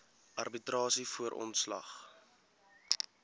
arbitrasie voor ontslag